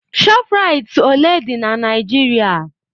ShopRites ole dị na Nigeria?